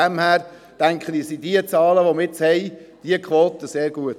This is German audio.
Ich denke, die Zahlen, die Quoten, die wir jetzt haben, sind sehr gut.